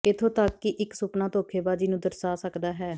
ਇਥੋਂ ਤੱਕ ਕਿ ਇਕ ਸੁਪਨਾ ਧੋਖੇਬਾਜ਼ੀ ਨੂੰ ਦਰਸਾ ਸਕਦਾ ਹੈ